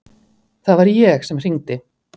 Það var ég sem hringdi.